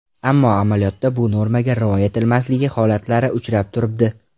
Ammo amaliyotda bu normaga rioya etilmasligi holatlari uchrab turibdi.